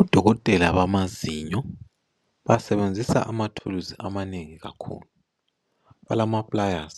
Odokotela bamazinyo basebenzisa amathulusi amanengi kakhulu balama pliers